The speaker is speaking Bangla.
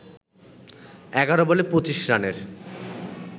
১১ বলে ২৫ রানের